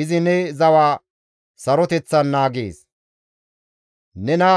Izi ne zawa saroteththan naagees; nena